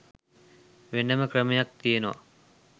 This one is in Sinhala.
වෙනම ක්‍රමයක් තියෙනවා.